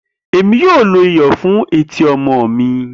Emi yoo lo awọn iyọ iyọ fun eti ọmọ mi.